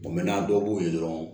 dɔw b'u ye dɔrɔn